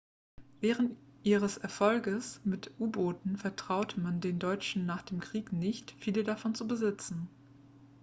wegen ihres erfolges mit u-booten vertraute man den deutschen nach dem krieg nicht viele davon zu besitzen